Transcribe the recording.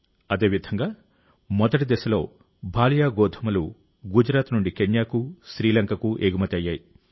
అదేవిధంగా మొదటి దశలో భాలియా గోధుమలు గుజరాత్ నుండి కెన్యాకు శ్రీలంకకు ఎగుమతి అయ్యాయి